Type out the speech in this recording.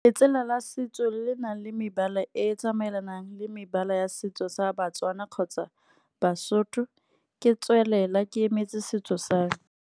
Letsela la setso le le nang le mebala e tsamaelanang, le mebala ya setso sa Batswana kgotsa Basotho ke tswelela ke emetse setso same.